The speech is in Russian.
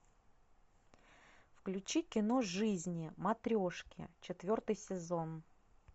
включи кино жизни матрешки четвертый сезон